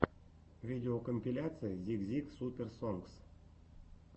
видеокомпиляция зик зик суперс сонгс